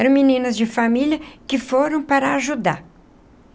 Eram meninas de família que foram para ajudar.